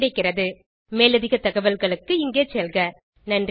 இந்த டுடோரியலுக்கு தமிழாக்கம் கடலூர் திவா குரல் கொடுத்தது ஐஐடி பாம்பேவில் இருந்து பிரியா